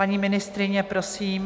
Paní ministryně, prosím.